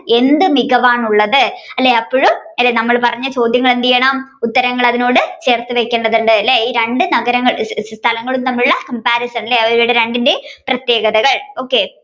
എന്ത് മികവാണുള്ളത് അല്ലെ അപ്പോഴും അല്ലെ നമ്മൾ പറഞ്ഞ ചോദ്യങ്ങൾ എന്ത് ചെയ്യണം ഉത്തരങ്ങൾ അതിനോട് ചേർത്തുവെക്കേണ്ടതുണ്ട് ഈ രണ്ടു നഗരങ്ങൾ സ്ഥലങ്ങളും തമ്മിലുള്ള comparison ലെ രണ്ടിന്റെയും പ്രത്യേകതകൾ